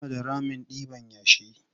Suna da ramin ɗiban yashi.